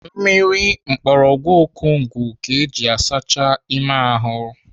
Mmiri mgbọrọgwụ akogun ka eji asacha ime ahụ.